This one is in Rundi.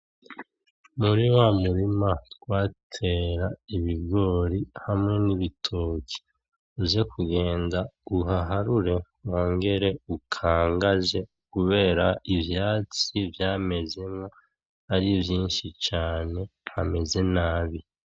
Muri wa murima twatera ibigori hamwe n'ibitoki uze kugenda uhaharure wongere ukangaze, kubera ivyatsi vyamezemwo ari vyinshi caane. Hameze nabi.